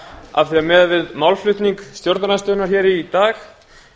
af því miðað við málflutning stjórnarandstöðunnar hér í dag